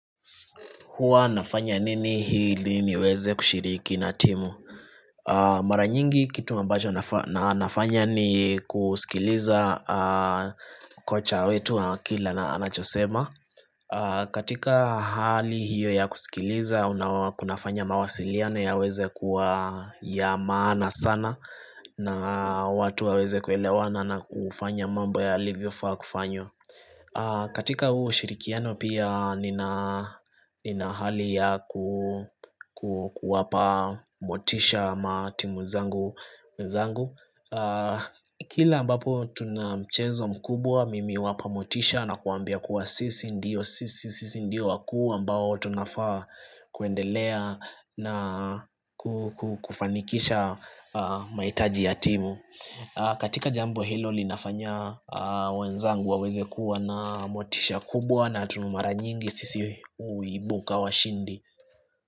Hua nafanya nini ili niweze kushiriki na timu? Mara nyingi kitu ambacho na nafanya ni kusikiliza kocha wetu wa akili na anachosema katika hali hiyo ya kusikiliza, unawa kunafanya mawasiliano yaweze kuwa ya maana sana na watu waweze kuelewana na kufanya mambo ya yaliyofaa kufanywa katika huo ushirikiano pia nina hali ya kuwapa motisha matimu zangu, wenzangu Kila ambapo tunamchezo mkubwa mimi huwapa motisha na kuwambia kuwa sisi ndio Sisi ndio wakuu ambao tunafaa kuendelea na kufanikisha mahitaji ya timu katika jambo hilo linafanya wenzangu waweze kuwa na motisha kubwa na tunuimara, mara nyingi sisi huibuka washindi.